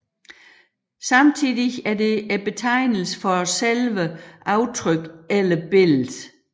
Samtidig er det betegnelsen for selve aftrykket eller billedet